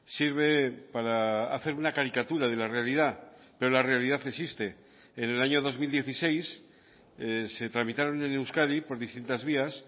sirve para hacer una caricatura de la realidad pero la realidad existe en el año dos mil dieciséis se tramitaron en euskadi por distintas vías